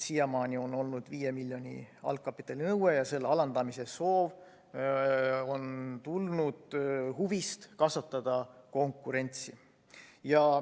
Siiamaani on olnud 5 miljoni euro suurune algkapitalinõue ja selle alandamise soov on tulnud huvist kasvatada konkurentsi.